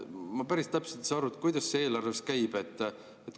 Ma päris täpselt ei saa aru, kuidas see eelarves käib.